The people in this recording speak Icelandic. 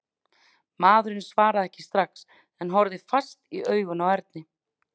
Maðurinn svaraði ekki strax en horfði fast í augun á Erni.